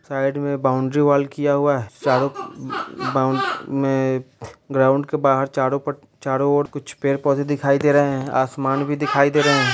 Side में boundary wall क्या हुआ है चारो बाउन में ग्राउंड के बाहर चार पट्टी चारो ओर पेड़ पौधे दिखाई दे रहे हैं आसमान भी दिखाई दे रहे हैं।